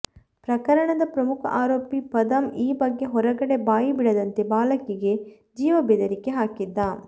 ಪ್ರಕರಣದ ಪ್ರಮುಖ ಆರೋಪಿ ಪದಮ್ ಈ ಬಗ್ಗೆ ಹೊರಗಡೆ ಬಾಯಿ ಬಿಡದಂತೆ ಬಾಲಕಿಗೆ ಜೀವಬೆದರಿಕೆ ಹಾಕಿದ್ದ